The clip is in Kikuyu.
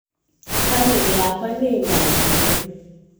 bamĩrĩ yakwa nĩ dathime